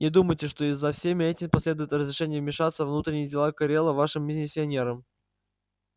не думайте что и за всем этим последует разрешение вмешиваться во внутренние дела корела вашим миссионерам